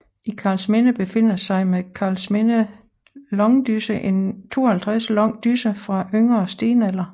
I Karlsminde befinder sig med Karlsminde langdysse en 52 lang dysse fra yngre stenalder